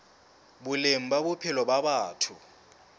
boleng ba bophelo ba batho